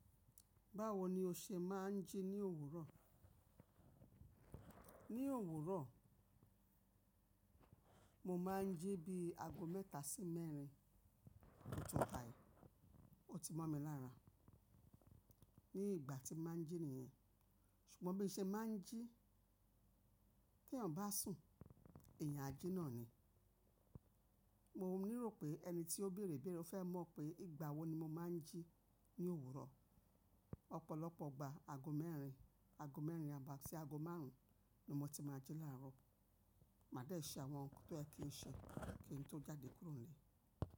Báwo ni o ṣe máa ń jí ní òwúrọ̀? Ní òwúrọ̀, mo máa ń jí bí ago mẹ́ta sí mẹ́rin. Ó ti ntá, ó ti mọ́ mi lára ní ìgbà tí mo máa ń jí nìyẹn. Ṣùgbọ́n bi n ṣe máa ń jí tí eyan bá sùn, eyan a ji náà ni. Mo ní rò pé ẹni tí ó bèrè ibèrè ó fẹ́ mọ̀ pé ìgbà wo ni mo máa ń jí ní òwúrọ̀. Ọ̀pọ̀lọpọ̀ gba ago mẹ́rin, ago mẹ́rin àbo sí ago márùn-ún ni mo ti máa jí láárọ̀. Màá de ṣe àwọn nǹkan tó ye kì n ṣe kí n tó jáde kúrò nílé.